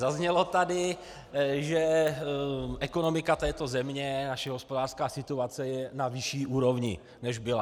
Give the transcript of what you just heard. Zaznělo tady, že ekonomika této země, naše hospodářská situace, je na vyšší úrovni, než byla.